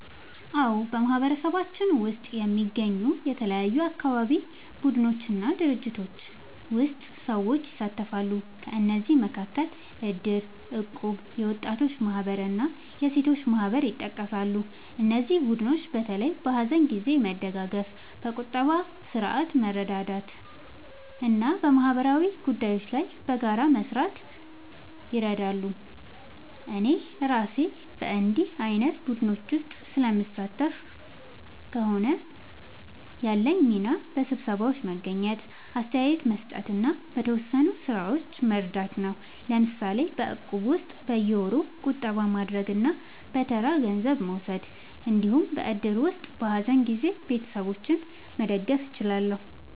አዎ፣ በማህበረሰባችን ውስጥ የሚገኙ የተለያዩ አካባቢ ቡድኖች እና ድርጅቶች ውስጥ ሰዎች ይሳተፋሉ። ከእነዚህ መካከል እድር፣ እቁብ፣ የወጣቶች ማህበር እና የሴቶች ማህበር ይጠቀሳሉ። እነዚህ ቡድኖች በተለይ በሀዘን ጊዜ መደጋገፍ፣ በቁጠባ ስርዓት መርዳት እና በማህበራዊ ጉዳዮች ላይ በጋራ መስራት ይረዳሉ። እኔ እራሴ በእንዲህ ዓይነት ቡድኖች ውስጥ ስለምሳተፍ ከሆነ፣ ያለኝ ሚና በስብሰባዎች መገኘት፣ አስተያየት መስጠት እና በተወሰኑ ሥራዎች መርዳት ነው። ለምሳሌ በእቁብ ውስጥ በየወሩ ቁጠባ ማድረግ እና በተራ ገንዘብ መውሰድ እንዲሁም በእድር ውስጥ በሀዘን ጊዜ ቤተሰቦችን መደገፍ እችላለሁ።